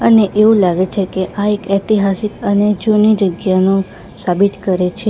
અને એવું લાગે છે કે આ એક ઐતિહાસિક અને જૂની જગ્યાનું સાબિત કરે છે.